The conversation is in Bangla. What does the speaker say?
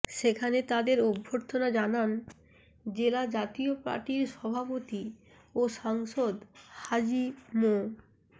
সেখানে তাদের অভ্যর্থনা জানান জেলা জাতীয় পার্টির সভাপতি ও সাংসদ হাজী মো